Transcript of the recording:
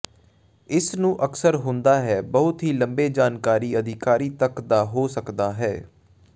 ਇਸ ਨੂੰ ਅਕਸਰ ਹੁੰਦਾ ਹੈ ਬਹੁਤ ਹੀ ਲੰਬੇ ਜਾਣਕਾਰੀ ਅਧਿਕਾਰੀ ਤੱਕ ਦਾ ਹੋ ਸਕਦਾ ਹੈ